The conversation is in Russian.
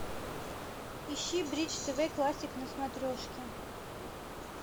ищи бридж тв классик на смотрежке